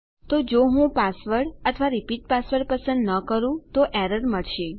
તો જો હું પાસવર્ડ અથવા રીપીટ પાસવર્ડ પસંદ ન કરું તો એરર મળશે